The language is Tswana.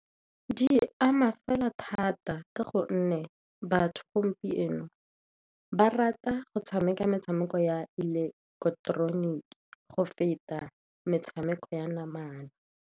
Di ama fela thata, ka gonne batho gompieno ba rata go tshameka metshameko ya ileketeroniki go feta metshameko ya namana.